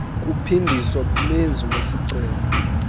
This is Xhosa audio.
kuphindiswa kumenzi wesicelo